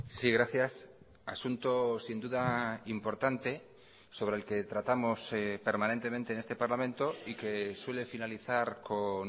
sí gracias asunto sin duda importante sobre el que tratamos permanentemente en este parlamento y que suele finalizar con